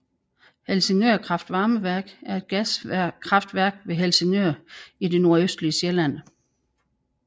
Helsingør Kraftvarmeværk er et gaskraftværk ved Helsingør i det nordøstlige Sjælland